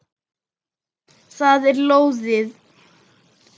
Það er lóðið.